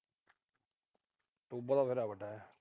ਟੋਬਾ ਤਾਂ ਬਥੇਰਾ ਵੱਡਾ।